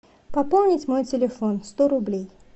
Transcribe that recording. пополнить мой телефон сто рублей